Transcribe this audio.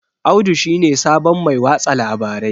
Audu shi ne sabon Mai watsa labarai